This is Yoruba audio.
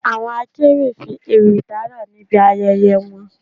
Àwọn akéwì fi ewì dárà níbi ayẹyẹ wọn